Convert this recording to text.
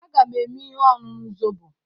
Aga m eme ihe ọṅụṅụ zobo.